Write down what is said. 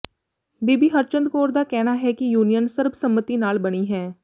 ਬੀਬੀ ਹਰਚੰਦ ਕੌਰ ਦਾ ਕਹਿਣਾ ਹੈ ਕਿ ਯੂਨੀਅਨ ਸਰਬਸੰਮਤੀ ਨਾਲ ਬਣੀ ਹੈ